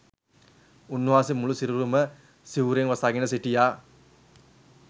උන්වහන්සේ මුළු සිරුරම සිවුරෙන් වසාගෙන සිටියා